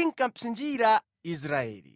inkapsinjira Aisraeli.